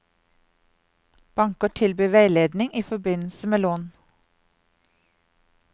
Banker tilbyr veiledning i forbindelse med lån.